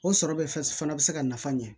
O sɔrɔ bɛ fana bɛ se ka nafa ɲɛ